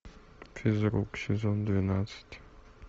физрук сезон двенадцать